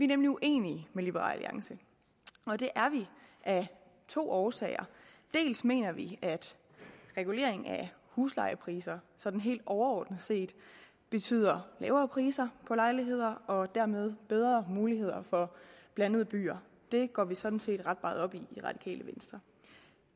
nemlig uenige med liberal alliance og det er vi af to årsager dels mener vi at regulering af huslejepriser sådan helt overordnet set betyder lavere priser på lejligheder og dermed bedre muligheder for blandede byer det går vi sådan set ret meget op i det radikale venstre